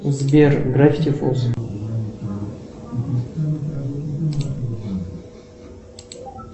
сбер гравити фолз